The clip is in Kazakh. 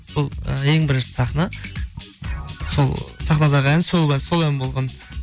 сол і ең бірінші сахна сол сахнадағы ән сол ән болған